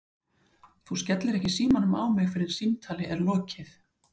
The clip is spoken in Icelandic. Þú skellir ekki símanum á mig fyrr en samtali er lokið!!!